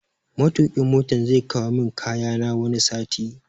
Matokin Motan zai kawo min kayana wani sati